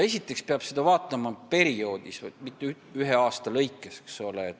Esiteks peab seda vaatama pikema perioodi jooksul, mitte ühe aasta kaupa.